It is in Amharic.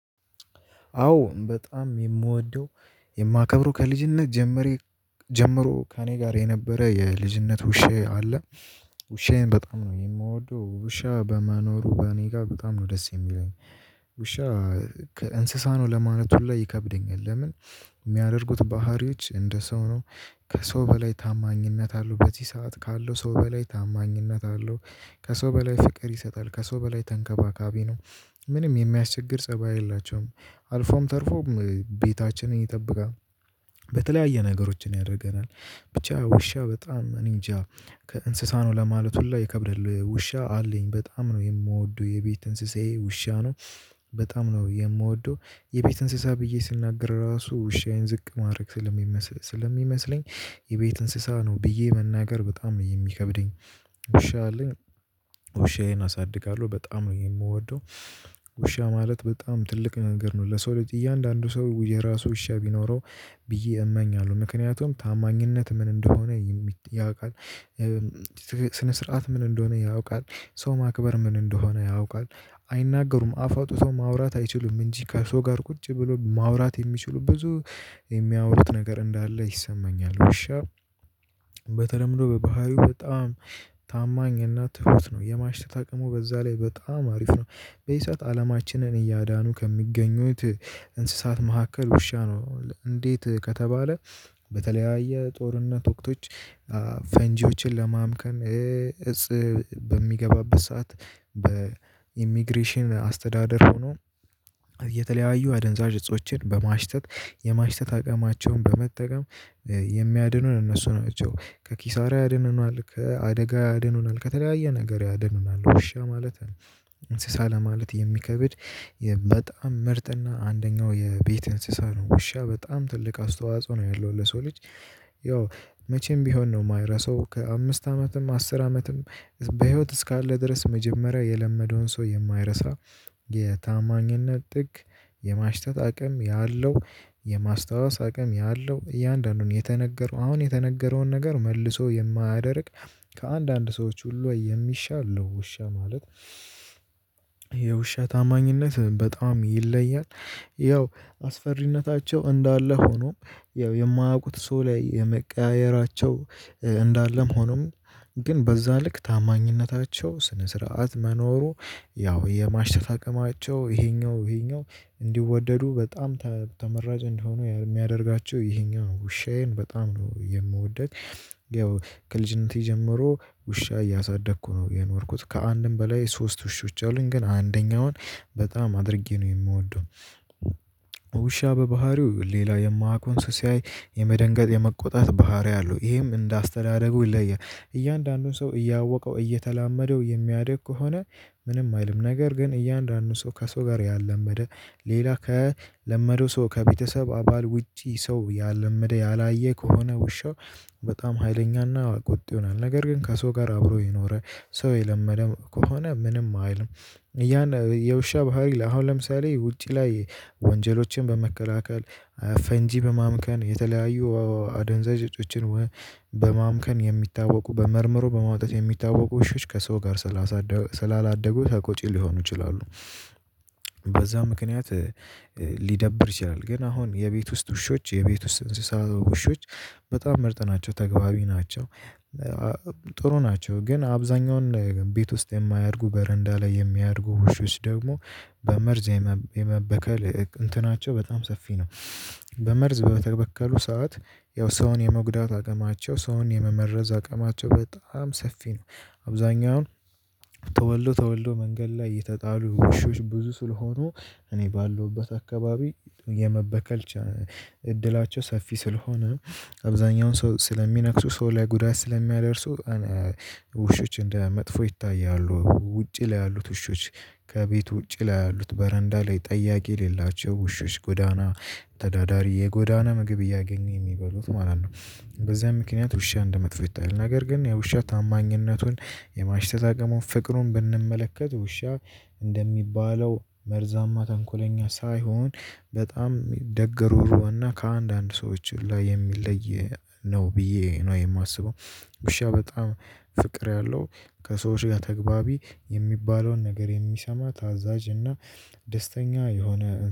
አዎ በጣም የምወደው የማከብረው ከልጅነት ጀምሬ ጀምሮ ከእኔ ጋር የነበረ የልጅነት ውሻዬ አለ። ውሻዬን በጣም ነው የምወደው ውሻ በመኖሩ በእኔ ጋር በጣም ነው ደስ የሚለኝ። ውሻ ከእንስሳ ነው ለማለት ሁሉ ይከብደኛል። ለምን የሚያደርጉት ባህሪዎች እንደ ሰው ነው። ከሰው በላይ ታማኝነት አለው በዚህ ሰዓት ካለው ሰው በላይ ታማኝነት አለው። ከሰው በላይ ፍቅር ይሰጣል ከሰው በላይ ተንከባካቢ ነው። ምንም የሚያስቸግር ፀባይ የላቸውም አልፎም ተርፎም ቤታችንን ይጠብቃል። በተለያየ ነገሮችን ያደርገናል ብቻ ውሻ በጣም እኔ እንጃ ከእንስሳ ነው ለማለት ሁሉ ይከብደል ውሻ አለኝ በጣም ነው የምወደው የቤት እንስሳዬ ውሻ ነው። በጣም ነው የምወደው የቤት እንስሳ ብዬ ስናገር ራሱ ውሻዬን ዝቅ ማድረግ ስለሚመስለኝ። የቤት እንስሳ ነው ብዬ መናገር በጣም የሚከብደኝ። ውሻ አለኝ። ውሻዬን አሳድጋለሁ በጣም ነው የምወደው። ውሻ ማለት በጣም ትልቅ ነገር ነው ለሰው ልጅ እያንዳንዱ ሰው የራሱ ውሻ ቢኖረው ብዬ እመኛለሁ ምክንያቱም ታማኝነት ምን እንደሆነ ያውቃል። ስነ ስርዓት ምን እንደሆነ ያውቃል። ሰው ማክበር ምን እንደሆነ ያውቃል። አይናገሩም አፍ አውጥቶ ማውራት አይችሉም እንጂ ከሰው ጋር ቁጭ ብሎ ማውራት የሚችሉ ብዙ የሚያወሩት ነገር እንዳለ ይሰማኛል። ውሻ በተለምዶ በባህሪው በጣም ታማኝ እና ትሁት ነው የማሽተት አቅሙ በዛ ላይ በጣም አሪፍ ነው። በዚህ ሰዓት አለማችንን እያዳኑ ከሚገኙት እንስሳት መካከል ውሻ ነው እንዴት ከተባለ? በተለያየ ጦርነት ወቅቶች ፈንጂዎችን ለማምከን እፅ በሚገባበት ሰዓት በኢሚግሬሽን አስተዳደር ሆኖ የተለያዩ አደንዛዥ እጾችን በማሽተት የማሽተት አቅማቸውን በመጠቀም የሚያድኑን እነሱ ናቸው። ከኪሳራ ያድኑናል ከአደጋ ያድኑናል ከተለያየ ነገር ያድኑናል። ውሻ ማለት እንስሳ ለማለት የሚከብድ በጣም ምርጥ እና አንደኛው የቤት እንስሳ ነው። ውሻ በጣም ትልቅ አስተዋጽኦ ነው ያለው ለሰው ልጅ። ያው መቼም ቢሆን ነው የማይረሳው ከአምስት አመትም አስር አመትም በህይወት እስካለ ድረስ መጀመሪያ የለመደውን ሰው የማይረሳ። የታማኝነት ጥግ የማሽተት አቅም ያለው የማስታወስ አቅም ያለው እያንዳንዱን የተነገረው አሁን የተነገረውን ነገር መልሶ የማያደርግ። ከአንዳንድ ሰዎች ሁሉ የሚሻለ ነው። ውሻ ማለት የውሻ ታማኝነት በጣም ይለያል። ያው አስፈሪነታቸው እንዳለ ሆኖም ያው የማያውቁት ሰው ላይ የመቀያየራቸው እንዳለም ሆኖም ግን በዛ ልክ ታማኝነታቸው ስነ ስርዓት መኖሩ ያው የማሽተት አቅማቸው ይሄኛው ይሄኛው እንዲወደዱ በጣም ተመራጭ እንዲሆኑ የሚያደርጋቸው ይሄኛው ውሻዬን በጣም ነው የምወዳት። ያው ከልጅነቴ ጀምሮ ውሻ እያሳደግኩ ነው የኖርኩት። ከአንድም በላይ ሶስት ውሾች አሉኝ ግን አንደኛውን በጣም አድርጌ ነው የምወደው። ውሻ በባህሪው ሌላ የማያውቀውን ሲያይ የመደንገጥ የመቆጣት ባህሪ አለው ይሄም እንደ አስተዳደጉ ይለያል። እያንዳንዱን ሰው እያወቀው እየተላመደው የሚያድግ ከሆነ ምንም አይልም። ነገር ግን እያንዳንዱን ሰው ከሰው ጋር ያላመደ ሌላ ከለመደው ሰው ከቤተሰብ አባል ውጪ ሰው ያላመደ ያላየ ከሆነ ውሻው በጣም ሀይለኛና ቁጡ ይሆናል። ነገር ግን ከሰው ጋር አብሮ የኖረ ሰው የለመደ ከሆነ ምንም አይልም። ያን የውሻ ባህሪ አሁን ለምሳሌ ውጪ ላይ ወንጀሎችን በመከላከል ፈንጂ በማምከን የተለያዩ አደንዛዥ እጮችን በማምከን የሚታወቁ በመርምሮ በማውጣት የሚታወቁ ውሾች ከሰው ጋር ስላላደጉ ተቆጪ ሊሆኑ ይችላሉ። በዛ ምክንያት ሊደብር ይችላል። ግን አሁን የቤት ውስጥ ውሾች የቤት ውስጥ እንስሳ ውሾች በጣም ምርጥ ናቸው ተግባቢ ናቸው። ጥሩ ናቸው ግን አብዛኛውን ቤት ውስጥ የማያድጉ በረንዳ ላይ የሚያድጉ ውሾች ደግሞ በመርዝ የመበከል እንትናቸው በጣም ሰፊ ነው። በመርዝ በተበከሉ ሰዓት ያው ሰውን የመጉዳት አቅማቸው ሰውን የመመረዝ አቅማቸው በጣም ሰፊ ነው። አብዛኛው ን ተወልዶ ተወልዶ መንገድ ላይ የተጣሉ ውሾች ብዙ ስለሆኑ እኔ ባለውበት አካባቢ የመበከል እድላቸው ሰፊ ስለሆነ አብዛኛውን ሰው ስለሚነክሱ ሰው ላይ ጉዳት ስለሚያደርሱ። ውሾች እንደ መጥፎ ይታያሉ ውጪ ላይ ያሉት ውሾች ከቤቱ ውጪ ላይ ያሉት በረንዳ ላይ ጠያቂ የሌላቸው ውሾች ጎዳና ተዳዳሪ የጎዳና ምግብ እያገኙ የሚበሉት ማለት ነው። በዚህ ምክንያት ውሻ እንደመጥፎ ይታያል። ነገር ግን ውሻ ታማኝነቱን የማሽተት አቅሙን ፍቅሩን ብንመለከት ውሻ እንደሚባለው መርዛማ ተንኮለኛ ሳይሆን በጣም ደግ ሩሩህ እና ከአንዳንድ ሰዎች ላይ የሚለይ ነው። ብዬ ነው የማስበው። ውሻ በጣም ፍቅር ያለው ከሰዎች ጋር ተግባቢ የሚባለውን ነገር የሚሰማ ታዛዥ እና ደስተኛ የሆነ